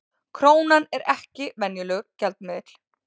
Krónan er ekki venjulegur gjaldmiðill